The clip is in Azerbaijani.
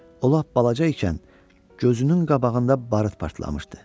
O lap balaca ikən gözünün qabağında barıt partlamışdı.